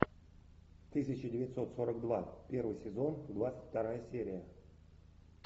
тысяча девятьсот сорок два первый сезон двадцать вторая серия